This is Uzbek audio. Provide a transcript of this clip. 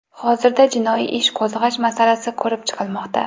Hozirda jinoiy ish qo‘zg‘ash masalasi ko‘rib chiqilmoqda.